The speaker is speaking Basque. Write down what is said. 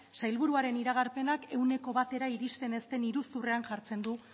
sailburuaren iragarpenak ehuneko batera iristen ez den iruzurrean jartzen du